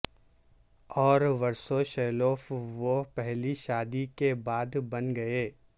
اور ورسوشیلوف وہ پہلی شادی کے بعد بن گئے